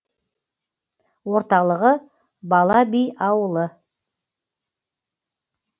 орталығы бала би ауылы